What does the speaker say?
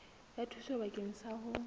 ya thuso bakeng sa ho